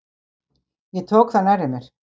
Ég tók það nærri mér.